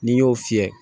N'i y'o fiyɛ